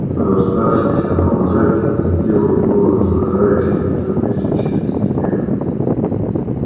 до оставшихся на лужайке долетел его раздражающий саркастический смех